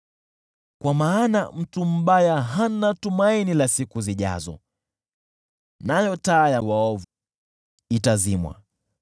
kwa maana mtu mbaya hana tumaini la siku zijazo, nayo taa ya waovu itazimwa.